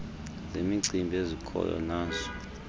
zemicimbi ezikhoyo nazo